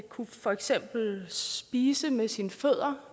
kunne for eksempel spise med sine fødder